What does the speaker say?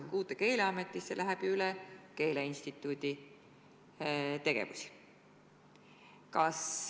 Sest uude Keeleametisse läheb ju üle keeleinstituudi tegevusi.